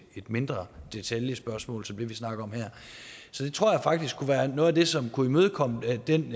mindre detaljespørgsmål som det vi snakker om her så det tror jeg faktisk kunne være noget af det som kunne imødekomme den